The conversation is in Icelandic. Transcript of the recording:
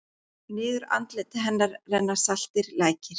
Niður andlit hennar renna saltir lækir.